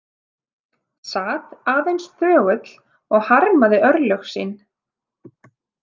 Sat aðeins þögull og harmaði örlög sín.